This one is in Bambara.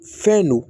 Fɛn don